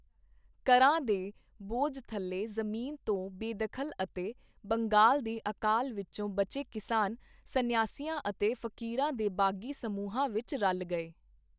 ਕਰਾਂ ਦੇ ਬੋਝ ਥੱਲੇ ਜ਼ਮੀਨ ਤੋਂ ਬੇਦਖਲ ਅਤੇ ਬੰਗਾਲ ਦੇ ਅਕਾਲ ਵਿਚੋਂ ਬਚੇ ਕਿਸਾਨ ਸਨਿਆਸੀਆਂ ਅਤੇ ਫਕੀਰਾਂ ਦੇ ਬਾਗੀ ਸਮੂਹਾਂ ਵਿਚ ਰਲ ਗਏ।